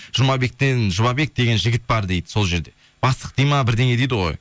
жұмабек деген жігіт бар дейді сол жерде бастық дейді ме бірдеңе дейді ғой